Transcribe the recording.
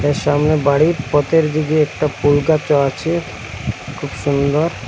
এর সামনে বাড়ির পতের দিগে একটা পুলগাছও আছে খুব সুন্দর।